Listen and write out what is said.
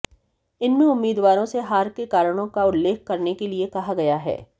इनमें उम्मीदवारों से हार के कारणों का उल्लेख करने के लिए कहा गया है